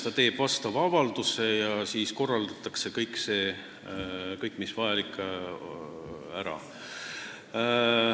Ta teeb vastava avalduse ja siis korraldatakse kõik vajalik ära.